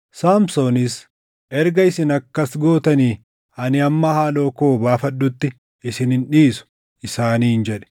Saamsoonis, “Erga isin akkas gootanii ani hamma haaloo koo baafadhutti isin hin dhiisu” isaaniin jedhe.